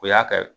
O y'a kɛ